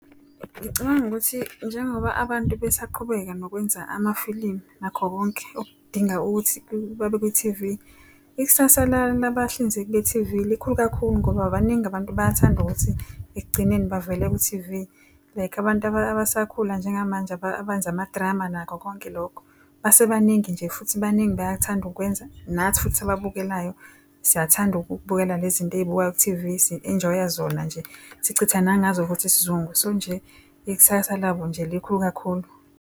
Ngicabanga ukuthi njengoba abantu besaqhubeka nokwenza amafilimu nakho konke okudinga ukuthi babe kwi-T_V, ikusasa labahlinzeki be-T_V likhulu kakhulu ngoba baningi abantu bayathanda ukuthi ekugcineni bavele kwi-T_V. Like abantu abasakhula njengamanje abenza ama-drama nakho konke lokho. Base baningi nje futhi baningi bayathanda ukwenza, nathi futhi ababukelayo siyathanda ukubukela lezinto eyibukwa ku-T_V si-enjoy-a zona nje. Sichitha nangazo futhi isizungu, so nje ikusasa labo nje likhulu kakhulu.